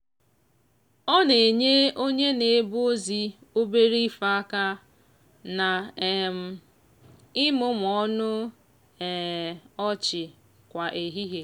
ọ na-enye onye na-ebu ozi obere ife aka na um imumu ọnụ um ọchị kwa ehihie.